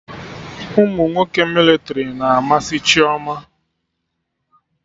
Umunwoke mịlịtrị na amasị Chioma